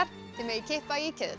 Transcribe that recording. þið megið kippa í keðjurnar